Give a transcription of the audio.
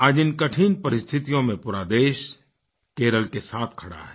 आज इन कठिन परिस्थितियों में पूरा देश केरल के साथ खड़ा है